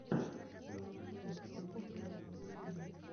сериал хелла хэллнитера в ютубе